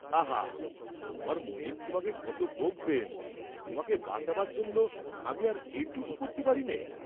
আহা তোমার মনীব তোমাকে কত বকবেন, তোমাকে বাঁচাবার জন্য আমি আর এইটুক করতে পারিনে?